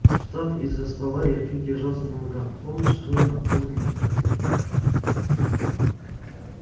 встав из-за стола я чуть держался на ногах в полночь зурин отвёз меня в трактир